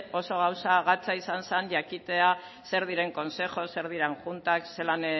oso gauza gatza izan zan jakitea zer diren consejos zer diren juntas zelan